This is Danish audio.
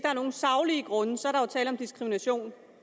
er nogen saglige grunde er der tale om diskrimination